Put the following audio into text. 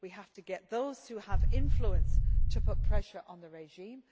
we have to get those who have influence to put pressure on the regime